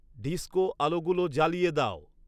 disco আলোগুলো জ্বালিয়ে দাও